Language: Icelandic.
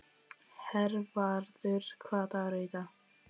Hervarður, hvaða dagur er í dag?